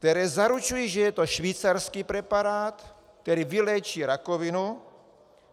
Které zaručují, že je to švýcarský preparát, který vyléčí rakovinu.